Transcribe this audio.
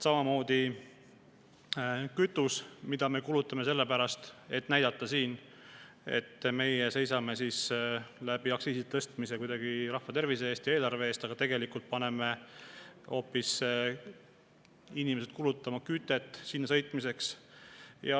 Samamoodi kütus, mida me kulutame sellepärast, et näidata siin, et meie seisame aktsiiside tõstmise abil kuidagi rahva tervise ja eelarve eest, aga tegelikult paneme hoopis inimesed kulutama kütet mujale sõitmiseks.